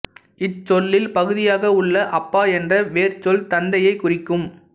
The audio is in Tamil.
இச்சொல்லில் பகுதியாக உள்ள அப்பா என்ற வேர்ச்சொல் தந்தையை குறிக்கும்